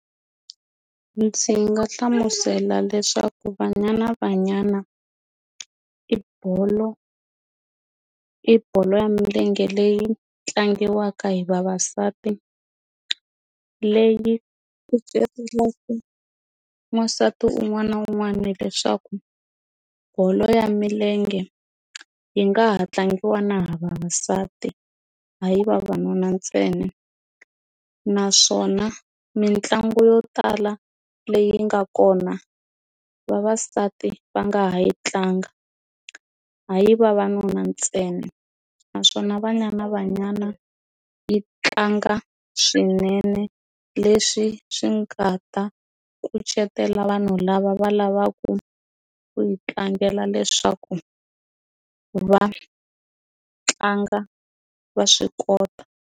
Ndzi nga hlamusela leswaku Banyana Banyana i bolo i bolo ya milenge leyi tlangiwaka hi vavasati leyi kucetelaka wansati un'wana na un'wana hileswaku bolo ya milenge yi nga ha tlangiwa na hi vavasati hayi vavanuna ntsena naswona mitlangu yo tala leyi nga kona vavasati va nga ha yi tlanga hayi vavanuna ntsena naswona Banyana Banyana yi tlanga swinene leswi swi nga ta kucetela vanhu lava va lavaku ku yi tlangela leswaku va tlanga va swi kota.